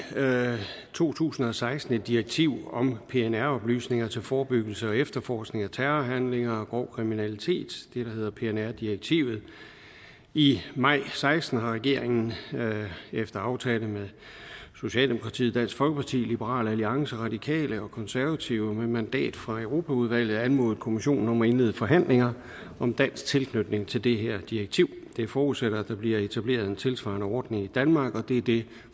to tusind og seksten et direktiv om pnr oplysninger til forebyggelse og efterforskning af terrorhandlinger og grov kriminalitet det der hedder pnr direktivet i maj og seksten har regeringen efter aftale med socialdemokratiet dansk folkeparti liberal alliance de radikale og konservative med mandat fra europaudvalget anmodet kommissionen om at indlede forhandlinger om dansk tilknytning til det her direktiv det forudsætter at der bliver etableret en tilsvarende ordning i danmark og det er det